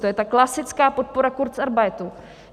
To je ta klasická podpora kurzarbeitu.